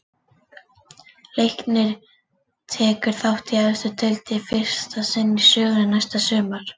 Leiknir tekur þátt í efstu deild í fyrsta sinn í sögunni næsta sumar.